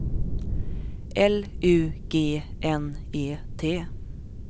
L U G N E T